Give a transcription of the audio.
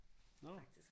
Nåh